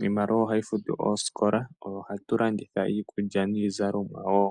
Iimaliwa oyo hayi futu oosikola, oyo hatu landitha iikulya niizalomwa wo.